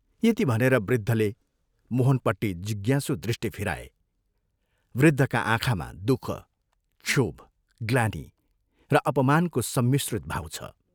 यति भनेर वृद्धले मोहनपट्टि जिज्ञासु दृष्टि फिराए वृद्धका आँखामा दुःख, क्षोभ, ग्लानि र अपमानको सम्मिश्रित भाव छ।